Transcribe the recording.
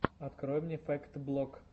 открой мне фэкт блог